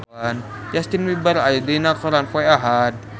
Justin Beiber aya dina koran poe Ahad